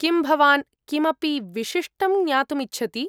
किं भवान् किमपि विशिष्टं ज्ञातुम् इच्छति?